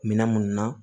Minɛn minnu na